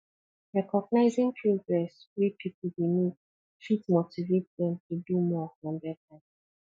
recognizing progress wey pipu dey make fit motivate dem to do more and better